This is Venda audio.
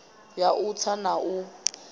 ya u tsa na u